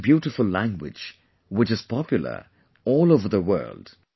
It is such a beautiful language, which is popular all over the world